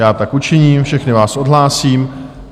Já tak učiním, všechny vás odhlásím.